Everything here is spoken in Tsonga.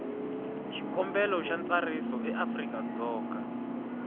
xikombelo xa ntsariso eafrika dzonga